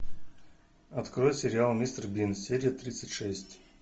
открой сериал мистер бин серия тридцать шесть